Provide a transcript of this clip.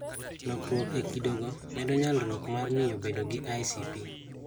Lokruok e kido go medo nyalruok mar miyo bedo gi ICP